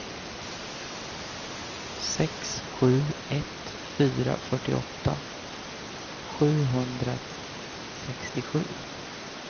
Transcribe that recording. sex sju ett fyra fyrtioåtta sjuhundrasextiosju